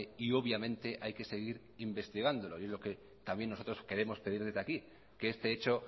y obviamente hay que seguir investigándolo y lo que también nosotros queremos pedir desde aquí que este hecho